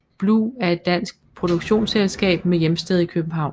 Blu er et dansk produktionsselskab med hjemsted i København